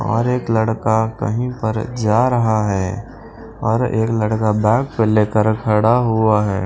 और एक लड़का कहीं पर जा रहा है और एक लड़का बैग पर लेकर खड़ा हुआ है।